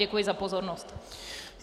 Děkuji za pozornost.